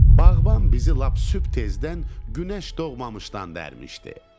Bağban bizi lap sübh tezdən günəş doğmamışdan dərmişdi.